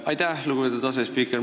Aitäh, lugupeetud asespiiker!